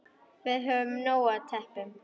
Við höfum nóg af teppum.